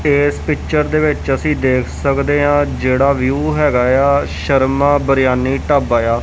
ਇਸ ਪਿਕਚਰ ਦੇ ਵਿੱਚ ਅਸੀਂ ਦੇਖ ਸਕਦੇ ਹੈ ਜਿਹੜਾ ਵਿਊ ਹੈ ਸ਼ਰਮਾ ਬਿਰਿਆਨੀ ਢਾਬਾ ਆ।